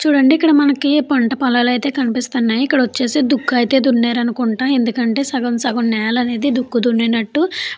చుడండి ఇక్కడ ఐతే మనకి పంట పొలాలు ఐతే కనిపిస్తున్నాయి ఇక్కడ వచ్చేసి దుక్కు ఐతే దున్నారు అనుకుంట ఎందుకంటె సగం సగం నెల అనేది దుక్కు దున్నినట్టు --